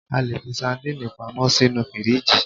A lè fi sandínì pamọ́ sínú fíríjì